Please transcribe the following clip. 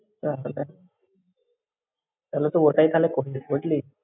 তাহলে, তাহলে তো তাহলে ওটাই করবি বুঝলি?